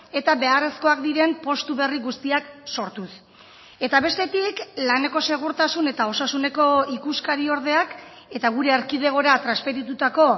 eta beharrezkoak diren postu berri guztiak sortuz eta bestetik laneko segurtasun eta osasuneko ikuskari ordeak eta gure erkidegora transferitutako